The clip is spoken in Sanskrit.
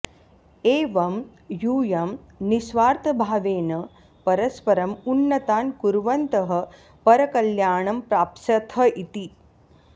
एवं यूयं निःस्वार्थभावेन परस्परम् उन्नतान् कुर्वन्तः परकल्याणं प्राप्स्यथ इति